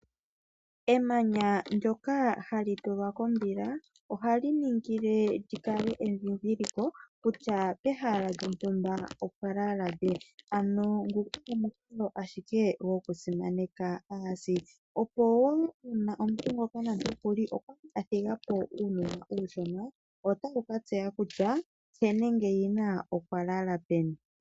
Emanya ndyoka hali tulwa kombila ohali ningile lyi kale endhindhiliko kutya pehala lyo ntumba opwa lala lye. Ano omukalo ashike okusimaneka aasi. Opo woo una omuntu ngoka nande okuli athigapo uunona uushona ,otaya ka tseya kutya he nenge yina okwalala peni.